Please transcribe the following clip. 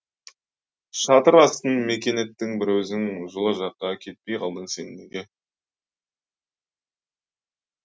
шатыр астын мекен еттің бір өзің жылы жаққа кетпей қалдың сен неге